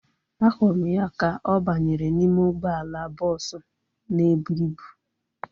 Ahụrụ m ya ka ọ banyere n'ime ụgbọala bọọsu na ebu ịbụ